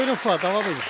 Buyurun, Fua, davam edin.